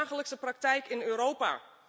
Dit is de dagelijkse praktijk in Europa.